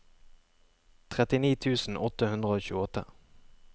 trettini tusen åtte hundre og tjueåtte